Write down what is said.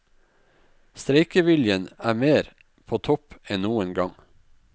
Streikeviljen er mer på topp enn noen gang.